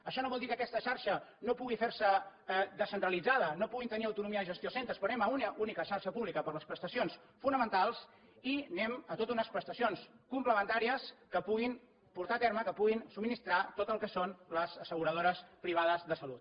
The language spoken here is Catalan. això no vol dir que aquesta xarxa no pugui fer se descentralitzada no puguin tenir autonomia de gestió els centres quan anem a una única xarxa pública per a les prestacions fonamentals i anem a totes unes prestacions complementàries que puguin portar a terme que puguin subministrar tot el que són les asseguradores privades de salut